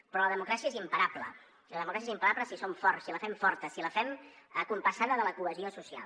però la democràcia és imparable la democràcia és imparable si som forts si la fem forta si la fem compassada amb la cohesió social